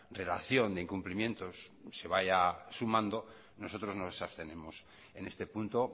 relación de incumplimientos se vaya sumando nosotros nos abstenemos en este punto